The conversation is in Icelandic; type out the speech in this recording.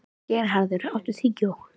Geirharður, áttu tyggjó?